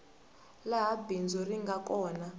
laha bindzu ri nga kona